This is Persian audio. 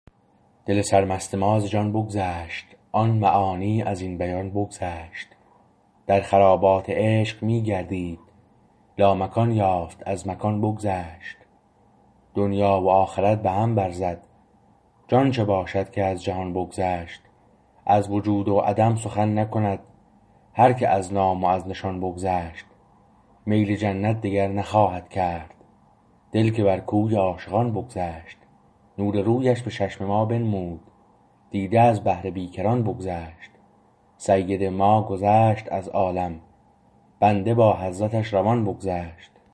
دل سرمست ما ز جان بگذشت آن معانی ازین بیان بگذشت در خرابات عشق می گردید لامکان یافت از مکان بگذشت دنیی و آخرت به هم بر زد جان چه باشد که از جهان بگذشت از وجود و عدم سخن نکند هرکه از نام و از نشان بگذشت میل جنت دگر نخواهد کرد دل که بر کوی عاشقان بگذشت نور رویش به چشم ما بنمود دیده از بحر بیکران بگذشت سید ما گذشت از عالم بنده با حضرتش روان بگذشت